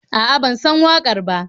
A'a, ban san waƙar ba.